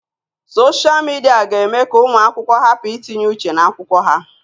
Soshia Midia ga-eme ka ụmụ akwụkwọ hapụ itinye uche n'akwụkwọ ha.